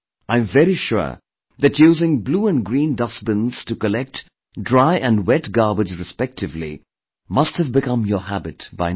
I am very sure that using blue and green dustbins to collect dry and wet garbage respectively must have become your habit by now